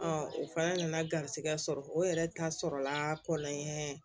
o fana nana garisigɛ sɔrɔ o yɛrɛ ta sɔrɔla kɔlɔn ye